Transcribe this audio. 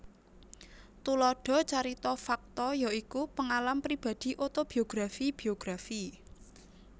Thulada carita fakta ya iku pengalam pibadi otobiografi biografi